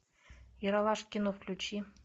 ералаш кино включи